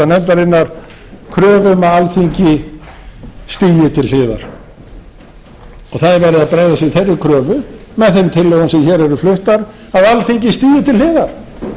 nefndarinnar kröfu um að alþingi stígi til hliðar og það verið að bregðast við þeirri kröfu með þeim tillögum sem hér eru fluttar að alþingi stígi til hliðar